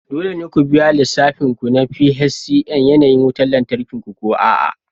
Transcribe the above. Dole ne ku biya lissafin ku na PHCN yanayin wutar lantarki ko a'a